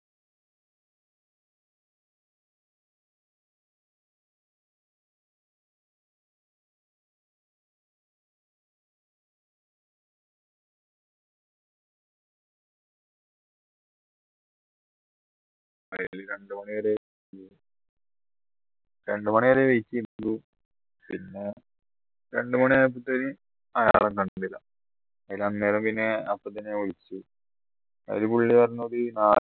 രണ്ടു മണിവരെ രണ്ടു മണിവരെ wait ചെയ്തു പിന്നെ രണ്ടു മണിയായപ്പത്തേക്കും അയാളെ കണ്ടില്ല അന്നേരം പിന്നെ അപ്പത്തന്നെ വിളിച്ചു അന്നെരോ പുള്ളി പറഞ്ഞത്